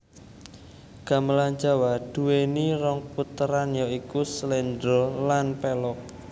Gamelan Jawa duwéni rong puteran ya iku sléndra lan pélog